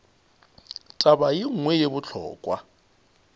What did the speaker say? taba ye nngwe ye bohlokwa